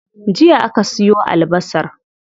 Jiya aka siyo albasar.